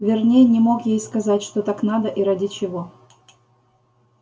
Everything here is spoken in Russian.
верней не мог ей сказать что так надо и ради чего